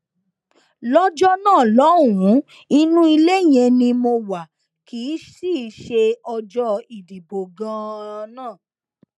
lọjọ náà lọhùnún inú ilé yẹn ni mo wá kí i sì í ṣe ọjọ ìdìbò ganan náà